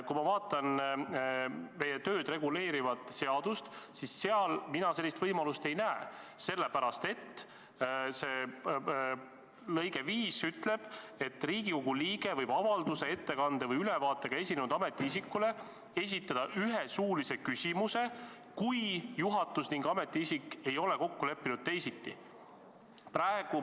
Kui ma vaatan meie tööd reguleerivat seadust, siis seal mina sellist võimalust ei näe, sellepärast et § 155 lõige 4 ütleb: "Riigikogu liige võib avalduse, ettekande või ülevaatega esinenud ametiisikule esitada ühe suulise küsimuse, kui Riigikogu juhatus ning ametiisik ei ole kokku leppinud teisiti.